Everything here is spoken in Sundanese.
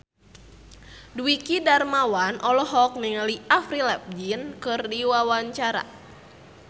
Dwiki Darmawan olohok ningali Avril Lavigne keur diwawancara